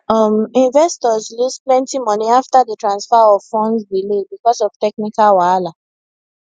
um investors lose plenty money after di transfer of funds delay because of technical wahala